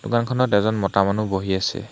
দোকানখনত এজন মতা মানুহ বহি আছে।